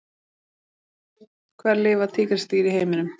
Hvar lifa tígrisdýr í heiminum?